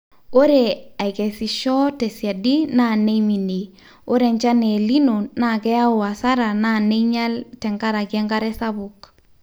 ore aikesisho tesiadi naa neiminie, ore enchan El nino naa keyau hasara naa neinyal tenkaraki enkare sapuk